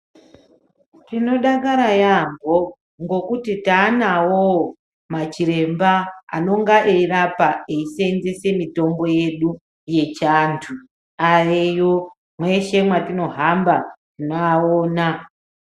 Tinodakara yambo ngokuti taanawowo machiremba anonga eyirapa eyiseenzese mitombo yedu yechiantu, aveyo mweshe mwatinohamba tinoawona.